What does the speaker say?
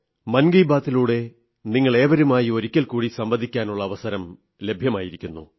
മൻ കീ ബാത്തിലൂടെ നിങ്ങളേവരുമായി ഒരിക്കൽകൂടി സംവദിക്കാനുള്ള അവസരം ലഭ്യമായിരിക്കുന്നു